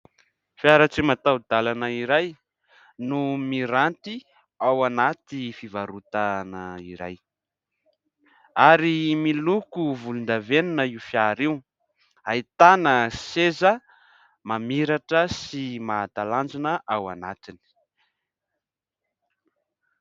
Fiara tsy mataho-dalana iray no miranty ao anaty fivarotana iray ary miloko volon-davenona io fiara io. Ahitana seza mamiratra sy mahatalanjona ao anatiny.